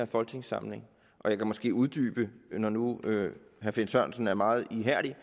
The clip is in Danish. folketingssamling og jeg kan måske uddybe når nu herre finn sørensen er meget ihærdig